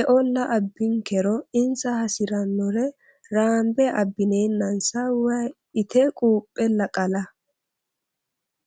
eolla abbinkero insa hasirinore raambe abbinenassa woyi itte quphella qalla.